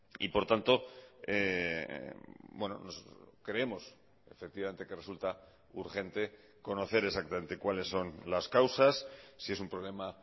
y por tanto creemos efectivamente que resulta urgente conocer exactamente cuáles son las causas si es un problema